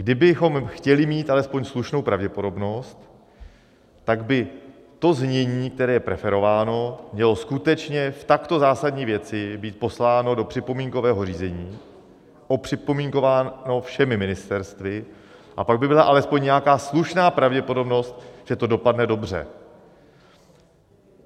Kdybychom chtěli mít alespoň slušnou pravděpodobnost, tak by to znění, které je preferováno, mělo skutečně v takto zásadní věci být posláno do připomínkového řízení, opřipomínkováno všemi ministerstvy, a pak by byla alespoň nějaká slušná pravděpodobnost, že to dopadne dobře.